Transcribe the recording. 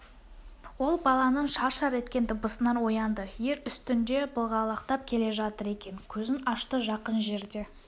ол баланың шар-шар еткен дыбысынан оянды ер үстінде былғалақтап келе жатыр екен көзін ашты жақын жерде